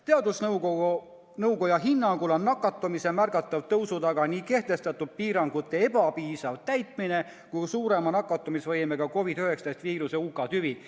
Teadusnõukoja hinnangul on nakatumise märgatava kasvu taga nii kehtestatud piirangute ebapiisav täitmine kui ka suurema nakatamisvõimega COVID-19 viiruse UK tüve levimine.